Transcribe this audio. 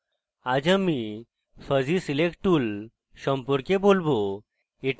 আজ আমি fuzzy select tool সম্পর্কে বলবো